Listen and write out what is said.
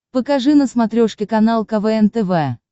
покажи на смотрешке канал квн тв